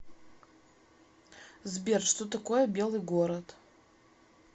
сбер что такое белый город